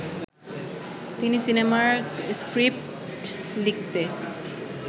তিনি সিনেমার স্ক্রিপ্ট লিখতে